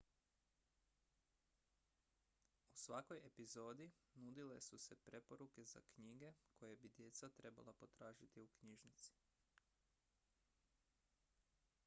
u svakoj epizodi nudile su se preporuke za knjige koje bi djeca trebala potražiti u knjižnici